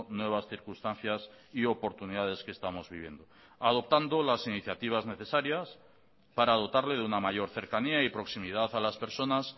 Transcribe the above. nuevas circunstancias y oportunidades que estamos viviendo adoptando las iniciativas necesarias para dotarle de una mayor cercanía y proximidad a las personas